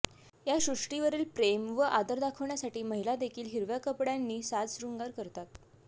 या सृष्टीवरील प्रेम व आदर दाखवण्यासाठी महिला देखील हिरव्या कपड्यांनी साजशृंगार करतात